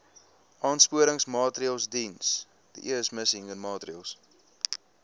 aansporingsmaatre ls diens